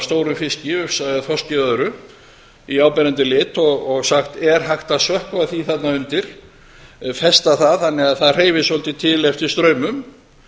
stórum fiski ufsa þorski eða öðru í áberandi lit og sagt er hægt að sökkva því þarna undir festa það þannig að það hreyfist svolítið til eftir straumum